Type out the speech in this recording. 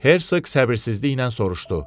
Herseq səbirsizliklə soruşdu.